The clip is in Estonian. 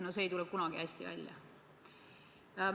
No see ei tule kunagi hästi välja.